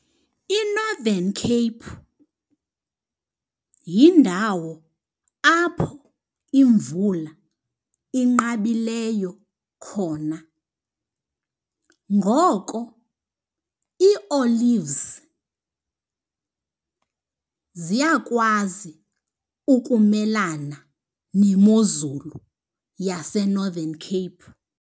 INorthern Cape yindawo apho imvula inqabileyo khona. Ngoko ii-olives ziyakwazi ukumelana nemozulu yaseNorthern Cape.